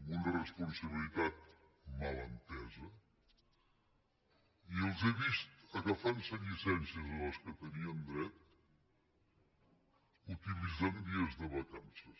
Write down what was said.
amb una responsabilitat mal entesa i els he vist agafar se llicències a les quals tenien dret utilitzant dies de vacances